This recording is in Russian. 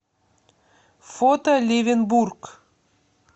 фото левенбург